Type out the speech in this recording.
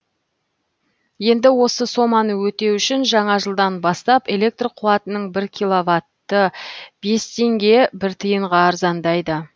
енді осы соманы өтеу үшін жаңа жылдан бастап электр қуатының бір киловаты бес теңге бір тиынға арзандайды